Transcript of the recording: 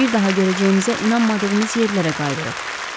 Bir daha görəcəyimizə inanmadığımız yerlərə qayıdırıq.